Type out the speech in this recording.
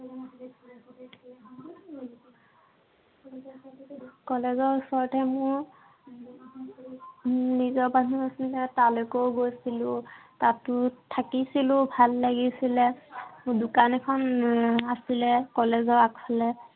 college ৰ ওচৰৰ মোৰ মোৰ নিজৰ মানুহ আছিলে। তালৈকে গৈছিলো। তাতো থাকিছিলো, ভাল লাগিছিলে। মোৰ দোকান এখন উম আছিলে college ৰ আগফালে।